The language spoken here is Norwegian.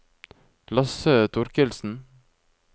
Lasse Thorkildsen